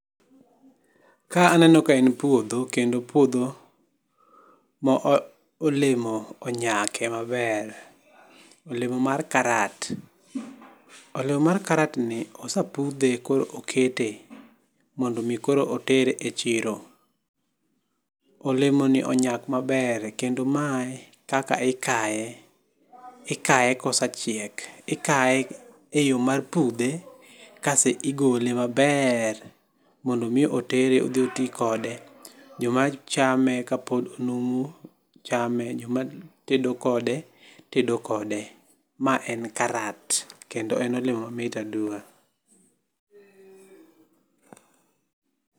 Ka aneno ka en puodho kendo puodho ma olemo onyake maber. Olemo mar karat. Olemo mar karat ni osepudho koro okete mondo mi koro otere e chiro. Olemo ni onyak maber kendo mae kaka ikae. Ikae kose chiek ikae, ikae e yoo mar pudhe kas igole maber mondo mi otere odhi otii kode. Joma chame kapod numu chame joma tedo kode tedo kode. Ma en karat kendo omit aduwa.